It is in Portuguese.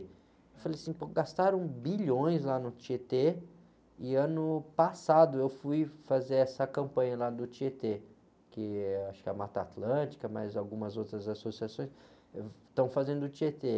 Eu falei assim, pô gastaram bilhões lá no Tietê e ano passado eu fui fazer essa campanha lá do Tietê, que acho que é a Mata Atlântica, mas algumas outras associações estão fazendo do Tietê.